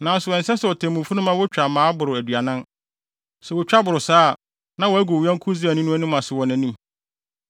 Nanso ɛnsɛ sɛ otemmufo no ma wotwa mmaa boro aduanan. Sɛ wotwa boro saa a, na wɔagu wo yɔnko Israelni anim ase wɔ wʼanim.